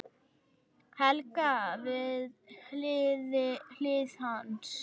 Helga við hlið hans.